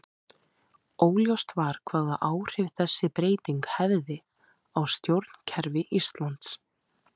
Óljóst var hvaða áhrif þessi breyting hefði á stjórnkerfi Íslands.